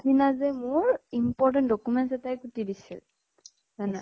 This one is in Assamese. সিদিনা যে মোৰ, important documents এটায়ে কুটি দিছিল । জানা ?